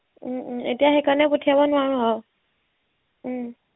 উম উম এতিয়া সেইকাৰণে পঠিয়াব নোৱাৰো আৰু উম